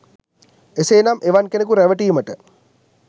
එසේ නම් එවන් කෙනෙකු රැවටීමට